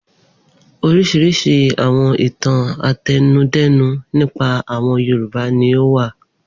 Oríṣiríṣi àwọn ìtàn àtẹnudẹ́nu nípa àwọn Yorùbá ni ó wà.